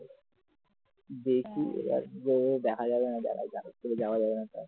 দেখি এবার দেখা যাবে কি যাবে না যাওয়া যাবে না